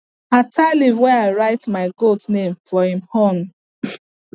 i tie leaf wey i write my goat name for him horn